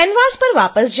canvas पर वापस आएं